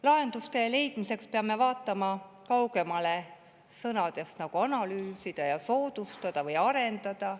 Lahenduste leidmiseks peame vaatama kaugemale sõnadest "analüüsida", "soodustada" või "arendada".